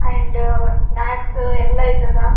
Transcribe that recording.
and snacks ಎಲ್ಲ ಇದ್ದದ್ದಾ --